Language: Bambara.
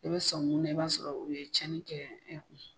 I bɛ sɔ mun na i b'a sɔrɔ u ye tiɲɛni kɛ e kun.